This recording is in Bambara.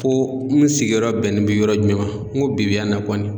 Ko n sigiyɔrɔ bɛnnen bɛ yɔrɔ jumɛn ma n ko bi bi yan na kɔni.